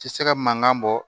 Ti se ka mankan bɔ